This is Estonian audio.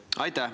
Aitäh!